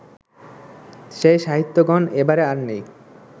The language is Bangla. সেই সাহিত্যগুণ এবারে আর নেই